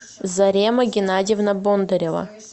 зарема геннадьевна бондарева